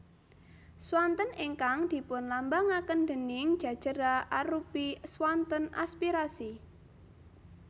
Swanten ingkang dipunlambangaken déning Ja jera arupi swanten aspirasi